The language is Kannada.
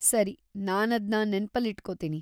ಸರಿ, ನಾನದ್ನ ನೆನ್ಪಲ್ಲಿಟ್ಕೊತೀನಿ.